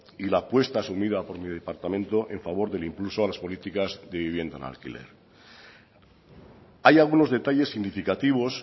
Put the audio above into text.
y la apuesta asumida por mi departamento en favor del impulso a las políticas de vivienda en alquiler hay algunos detalles significativos